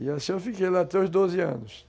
E assim eu fiquei lá até os doze anos.